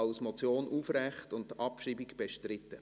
als Motion aufrechterhalten und bestritten.